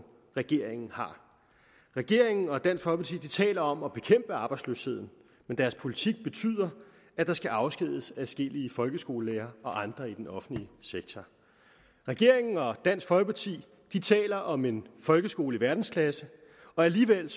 regeringen har regeringen og dansk folkeparti taler om at bekæmpe arbejdsløsheden men deres politik betyder at der skal afskediges adskillige folkeskolelærere og andre i den offentlige sektor regeringen og dansk folkeparti taler om en folkeskole i verdensklasse og alligevel